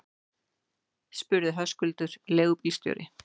spurði Höskuldur leigubílstjóri.